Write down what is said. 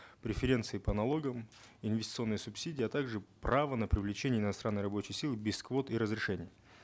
преференции по налогам инвестиционные субсидии а также право на привлечение иностранной рабочей силы без квот и разрешений